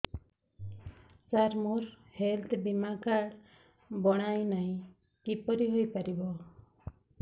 ସାର ମୋର ହେଲ୍ଥ ବୀମା କାର୍ଡ ବଣାଇନାହିଁ କିପରି ହୈ ପାରିବ